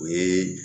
O ye